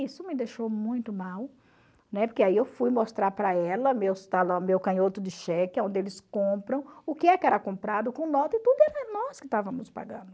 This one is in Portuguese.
Isso me deixou muito mal, né, porque aí eu fui mostrar para ela, meus talão meu canhoto de cheque, aonde eles compram, o que era comprado com nota e tudo era nós que estávamos pagando.